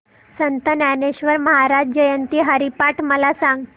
संत ज्ञानेश्वर महाराज जयंती हरिपाठ मला सांग